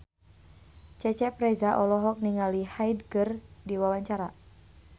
Cecep Reza olohok ningali Hyde keur diwawancara